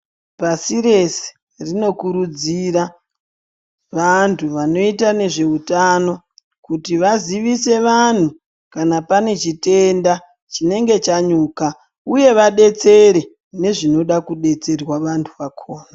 Pasi rese rinokurudzira vantu vanoita nezveutano kuti vazivise vanhu kana pane chitenda chinenge chanyuka, uye vadetsere nezvinoda kudetserwa vantu vakhona.